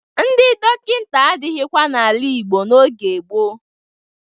Ndị dọkịta adịghịkwa n'ala Igbo n'oge gboo.